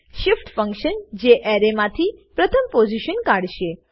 shift function જે array માંથી પ્રથમ પોઝીશન કાઢશે